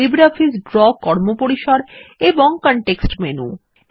LibreOffice Draw কর্মপরিসর এবং ও কনটেক্সট মেনু